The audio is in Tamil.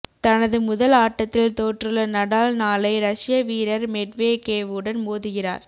தனது முதல் ஆட்டத்தில் தோற்றுள்ள நடால் நாளை ரஷிய வீரர் மெட்வெகேவுடன் மோதுகிறார்